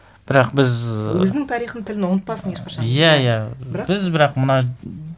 бірақ біз ы өзінің тарихын тілін ұмытпасын ешқашан иә иә бірақ біз бірақ мына